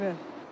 Bəli, bəli.